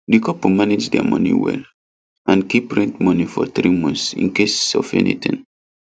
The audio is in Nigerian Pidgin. the couple manage their money well and keep rent money for 3 months in case of anything